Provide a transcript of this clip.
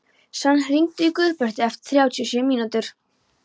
Svan, hringdu í Guðbertu eftir þrjátíu og sjö mínútur.